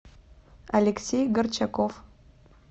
алексей горчаков